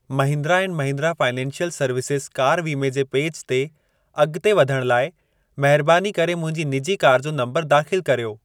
Mahindra and Mahindra financial services car वीमे जे page ते अॻिते वधण लाइ महरबानी करे मुंहिंजी निजी कार जो नंबर दाख़िल कर्यो।